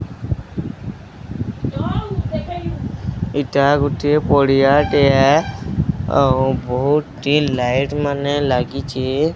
ଏଇଟା ଗୋଟିଏ ପଡ଼ିଆ ଟିଏ ଟିଏ ଆଉ ବହୁଟି ଲାଇଟ୍ ମାନେ ଲାଗିଚେ।